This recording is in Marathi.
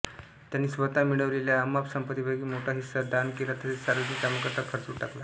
त्यांनी स्वतः मिळवलेल्या अमाप संपत्तीपैकी मोठा हिस्सा दान केला तसेच सार्वजनिक कामांकरीता खर्च करून टाकला